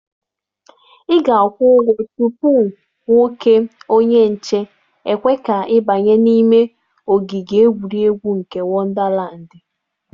Ị ga-akwụ ụgwọ tupu nwoke onye nche ekwe ka ị banye n'ime ogige egwuregwu nke Wọndalandị.